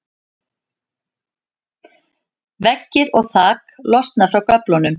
veggir og þak losna frá göflunum